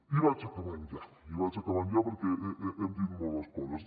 i vaig acabant ja i vaig acabant ja perquè hem dit moltes coses